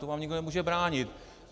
To vám nikdo nemůže bránit.